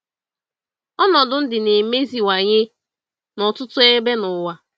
Ọnọdụ ndụ na-emeziwanye na ọtụtụ ebe n’ụwa.